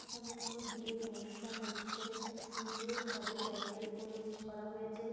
এখানে কোনো বিয়ের অনুষ্ঠান হচ্ছে খুব সুন্দরভাবে প্যান্ডেল করে করা হয়েছে।